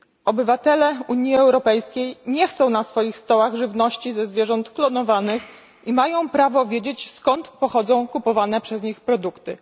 Obywatele Unii Europejskiej nie chcą na swoich stołach żywności ze zwierząt klonowanych i mają prawo wiedzieć, skąd pochodzą kupowane przez nich produkty.